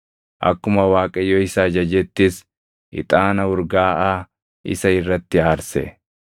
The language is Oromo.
Akkuma Waaqayyo isa ajajettis ixaana urgaaʼaa isa irratti aarse.